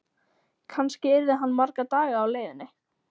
Kannski yrði hann marga daga á leiðinni.